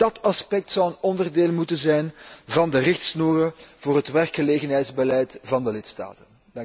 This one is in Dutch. Ook dat aspect zou een onderdeel moeten zijn van de richtsnoeren voor het werkgelegenheidsbeleid van de lidstaten.